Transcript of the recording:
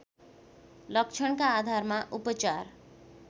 लक्षणका आधारमा उपचार